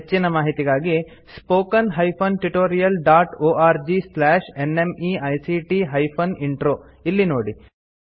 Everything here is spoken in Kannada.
ಹೆಚ್ಚಿನ ಮಾಹಿತಿಗಾಗಿ spoken hyphen tutorial dot org slash NMEICT hyphen intro ಇಲ್ಲಿ ನೋಡಿ